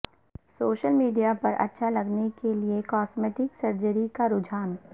social media پر اچھا لگنے کے لیے کاسمیٹک سرجری کا رجحان